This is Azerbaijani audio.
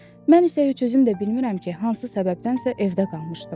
Mən isə heç özüm də bilmirəm ki, hansı səbəbdənsə evdə qalmışdım.